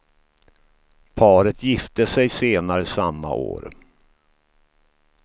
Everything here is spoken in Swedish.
Paret gifte sig senare samma år.